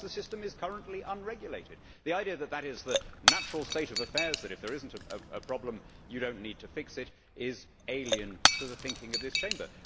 Because the system is currently unregulated! The idea that that is the natural state of affairs that if there is not a problem, you do not need to fix it is alien to the thinking of this Chamber.